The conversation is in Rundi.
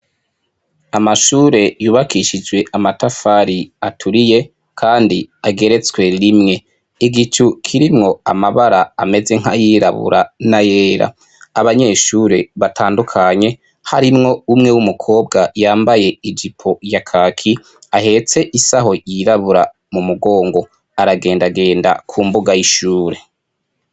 Amashure yubakishijwe amatafari aturiye Kandi ageretswe rimwe , igicu kirimwo amabara ameze nk'ayirabura n'ayera, abanyeshure batandukanye harimwo umwe w'umukobwa yambaye ijipo ya kaki ahetse isaho yirabura mu mugongo aragendagenda ku mbuga y'ishure.